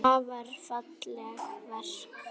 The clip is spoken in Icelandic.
Afar falleg verk.